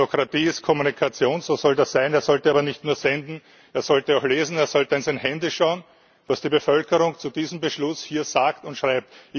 Demokratie ist Kommunikation, so soll das sein, er sollte aber nicht nur senden, er sollte auch lesen, er sollte in sein Handy schauen, was die Bevölkerung zu diesem Beschluss hier sagt und schreibt.